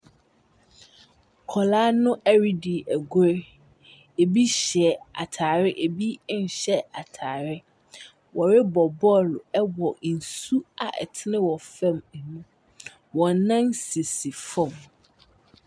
Mbodambɔ a wɔahyehyɛ wɔ adze do, n'enyim na abrantse bi gyina. Ɔhyɛ kyɛw ɛna ahwehwɛnyiwa. Atar gu nensa benkum do. Na okita bag so ɔyɛ kɔkɔɔ. Ne mpaboa so yɛ kɔkɔɔ. Na ɔahyehyɛ nsa no bi nso asi fam wɔ adze kɔkɔɔ mu.